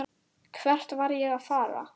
Hvert var ég að fara?